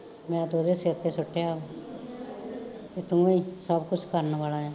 ਮੈਂ ਤੇ ਉਹਦੇ ਸਿਰ ਤੇ ਸੁਟਿਆ ਵਾ ਕਿ ਤੁਹੀਂ ਸਭ ਕੁਸ਼ ਕਰਨ ਵਾਲਾ ਆਂ